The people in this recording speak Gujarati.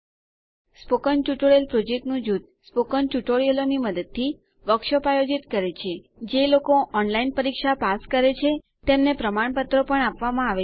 સ્પોકન ટ્યુટોરીયલ પ્રોજેક્ટનું જૂથ સ્પોકન ટ્યુટોરિયલોની મદદથી વર્કશોપ આયોજિત કરે છે જે લોકો ઓનલાઈન પરીક્ષા પાસ કરે છે તેમને પ્રમાણપત્રો આપવામાં આવે છે